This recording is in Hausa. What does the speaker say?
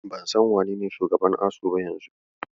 Ban san wanene shugaban ASUU ba yanzu.